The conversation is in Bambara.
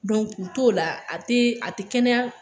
k'u t'o la a tɛ a tɛ kɛnɛya.